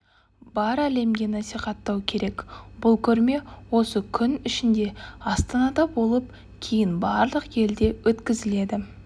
бар әлемге насихаттау керек бұл көрме осы күн ішінде астанада болып кейін барлық елде өткізіледі